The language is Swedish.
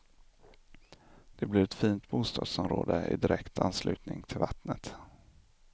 Det blir ett fint bostadsområde i direkt anslutning till vattnet.